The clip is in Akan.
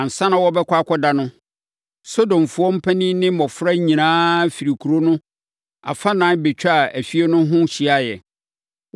Ansa na wɔbɛkɔ akɔda no, Sodomfoɔ mpanin ne mmɔfra nyinaa firi kuro no afanan bɛtwaa efie no ho hyiaeɛ.